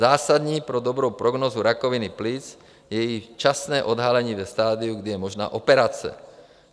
Zásadní pro dobrou prognózu rakoviny plic je její časné odhalení ve stadiu, kdy je možná operace.